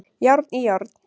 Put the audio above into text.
Járn í járn